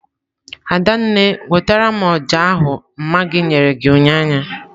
Adanne nwetara m oja ahu mma gi nyere gi unyanya.